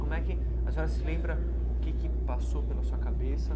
Como é que... A senhora se lembra o que que passou pela sua cabeça?